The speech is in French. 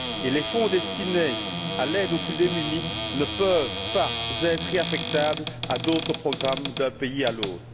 Les fonds destinés à l'aide aux plus démunis ne peuvent pas être réaffectables à d'autres programmes d'un pays à l'autre.